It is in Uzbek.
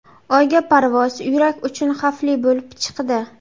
Oyga parvoz yurak uchun xavfli bo‘lib chiqdi.